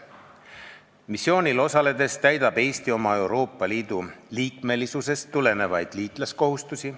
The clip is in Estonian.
Missioonil osaledes täidab Eesti oma Euroopa Liidu liikmesusest tulenevaid liitlaskohustusi.